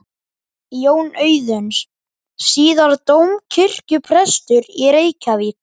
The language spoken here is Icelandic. Jón Auðuns, síðar dómkirkjuprestur í Reykjavík.